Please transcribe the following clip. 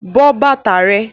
But bàtà rẹ!